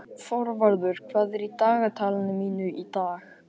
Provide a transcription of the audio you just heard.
Þorvarður, hvað er í dagatalinu mínu í dag?